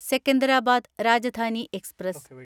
Secunderabad Rajdhani express